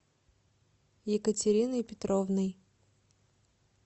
екатериной петровной